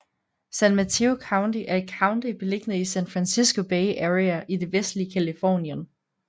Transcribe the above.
San Mateo County er et county beliggende i San Francisco Bay Area i det vestlige Californien